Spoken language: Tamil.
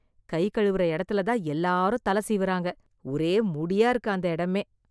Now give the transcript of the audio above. கை கழுவுற எடத்துல தான் எல்லாரும் தலை சீவுறாங்க, ஒரே முடியா இருக்கு அந்த இடமே.